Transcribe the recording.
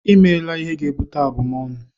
I meela ihe ga-ebute abumọnu!